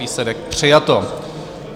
Výsledek: přijato.